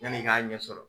Yanni i k'a ɲɛ sɔrɔ